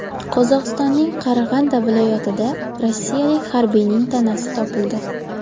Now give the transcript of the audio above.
Qozog‘istonning Qarag‘anda viloyatida rossiyalik harbiyning tanasi topildi.